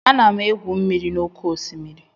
Ana m egwu mmiri n'oké osimiri